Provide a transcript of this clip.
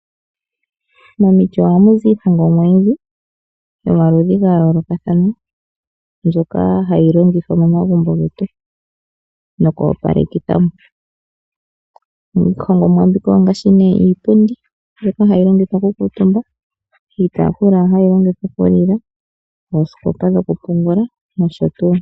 Momiti oha muzi iihongomwa oyindji yomaludhi ga yoolokathana mbyoka hayi longithwa momagumbo getu nokoopalekitha mo. Iihongomwa mbika ongaashi nee iipundi mbyoka hayi longithwa kukaatumbwa, iitaafula hayi longithwa okulila, oosikopa dhokupungula noshotuu.